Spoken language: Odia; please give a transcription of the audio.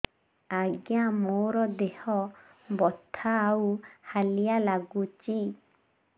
ଆଜ୍ଞା ମୋର ଦେହ ବଥା ଆଉ ହାଲିଆ ଲାଗୁଚି